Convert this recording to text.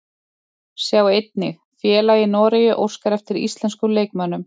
Sjá einnig: Félag í Noregi óskar eftir íslenskum leikmönnum